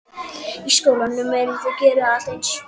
Í skólum er reynt að gera alla eins.